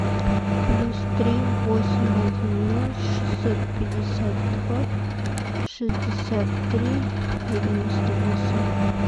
плюс три восемь один ноль шестьсот пятьдесят два шестьдесят три девяносто восемь